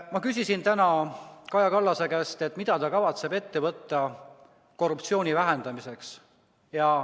Ma küsisin täna Kaja Kallase käest, mida ta kavatseb ette võtta korruptsiooni vähendamiseks.